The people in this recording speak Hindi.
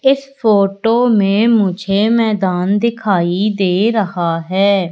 इस फोटो में मुझे मैदान दिखाइ दे रहा है।